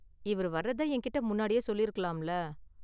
இவர் வர்றத என்கிட்ட முன்னாடியே சொல்லிருக்கலாம்ல.